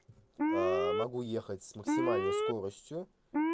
могу ехать с максимальной скоростью